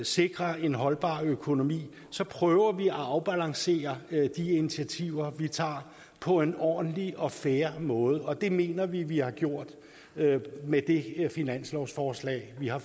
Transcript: sikre en holdbar økonomi så prøver vi at afbalancere de initiativer vi tager på en ordentlig og fair måde og det mener vi vi har gjort med det her finanslovsforslag vi har